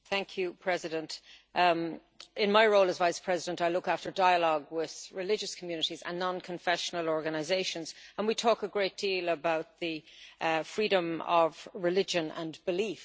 Madam President, in my role as Vice President, I look after dialogue with religious communities and non confessional organisations and we talk a great deal about freedom of religion and belief.